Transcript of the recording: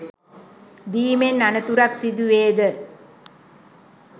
දීමෙන් අනතුරක් සිදුවේද?